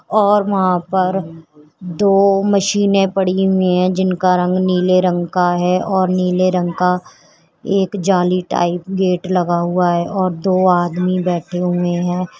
और वहां पर दो मशीनें पड़ी हुई हैं जिनका रंग नीले रंग का नीले रंग का है और नीले रंग का एक जाली टाइप गेट लगा हुआ है दो आदमी बैठे हुए हैं।